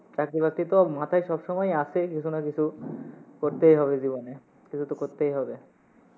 চাকরি বাকরি তো মাথায় সব সময়ই আসে, কিসু না কিছু করতেই হবে জীবনে, কিসু তো করতেই হবে।